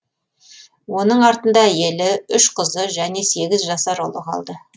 оның артында әйелі үш қызы және сегіз жасар ұлы қалды